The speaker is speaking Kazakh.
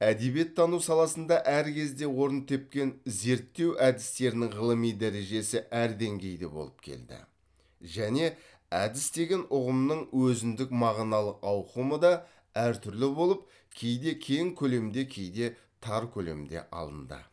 әдебиеттану саласында әр кезде орын тепкен зерттеу әдістерінің ғылыми дәрежесі әр деңгейде болып келді және әдіс деген ұғымның өзіндік мағыналық ауқымы да әр түрлі болып кейде кең көлемде кейде тар көлемде алынды